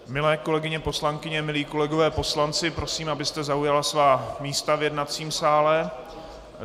Milé kolegyně poslankyně, milí kolegové poslanci, prosím, abyste zaujali svá místa v jednacím sále.